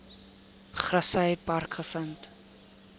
grassy park gevind